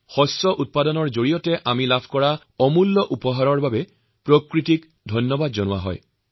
এই সকলো উৎসৱৰ জৰিয়তে আমি ফচল হিচাপে পোৱা অমূল্য উপহাৰৰ বাবে প্ৰকৃতিক ধন্যবাদ দিছো